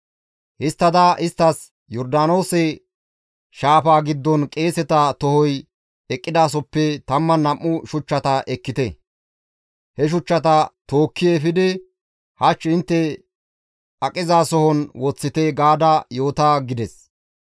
Histtada isttas, ‹Yordaanoose shaafaa giddon qeeseta tohoy eqqidasoppe 12 shuchchata ekkite; he shuchchata tookki efidi hach intte aqizason woththite› gaada yoota» gides.